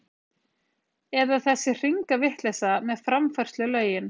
Eða þessi hringavitleysa með framfærslulögin!